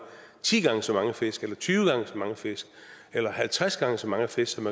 ti gange så mange fisk eller tyve gange så mange fisk eller halvtreds gange så mange fisk som